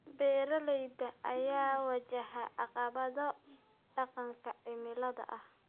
Beeralayda ayaa wajahaya caqabado dhanka cimilada ah.